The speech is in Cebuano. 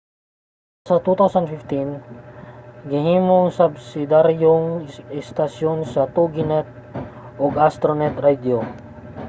sa hinapos sa 2015 gihimong subsidiyaryong estasyon sa toginet ang astronet radio